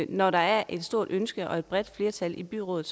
når der er et stort ønske og et bredt flertal i byrådet